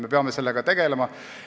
Me peame sellega tegelema.